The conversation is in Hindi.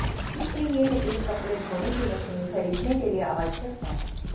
इसलिए यह एक कपड़े धोने की मशीन खरीदने के लिए आवश्यक है